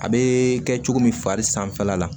A bee kɛ cogo min fari sanfɛla la